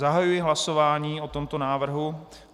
Zahajuji hlasování o tomto návrhu.